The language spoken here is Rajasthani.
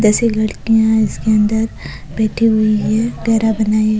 दस एक लड़किया इसके अंदर बैठी हुई है घेरा बनाये।